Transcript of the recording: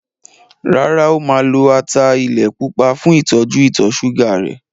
Rárá, o máa lo ata ilẹ̀ pupa fún ìtọ́jú ìtọ̀ ṣúgà rẹ̀.